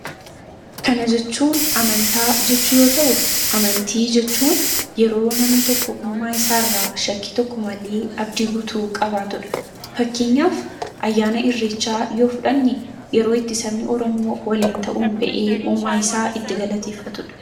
kana jechuun amantaa jechuu yoo ta'u amantii jechuun yeroo namni tokko uumaa isaa irraa shakkii tokko malii abdii gutuu qabaatudha fakkeenyaaf ayyaana irrichaa yoo fudhanni yeroo itti sabni oramoo waliin ta'uun ba'ee uumaa isaa itti galateeffatudha